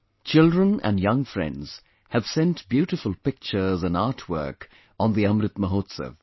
Children and young friends have sent beautiful pictures and artwork on the Amrit Mahotsav